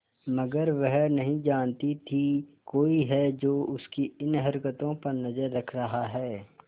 मगर वह नहीं जानती थी कोई है जो उसकी इन हरकतों पर नजर रख रहा है